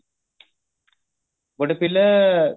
ଗୋଟେ ପିଲା